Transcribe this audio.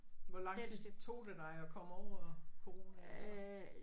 Hvor lang tid tog det dig at komme over coronaen så?